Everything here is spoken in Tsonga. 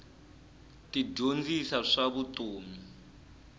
ti dyondzisa swa vutomi